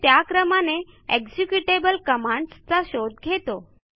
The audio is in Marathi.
शेल त्या क्रमाने एक्झिक्युटेबल commandsचा शोध घेतो